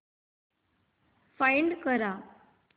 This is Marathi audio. फाइंड कर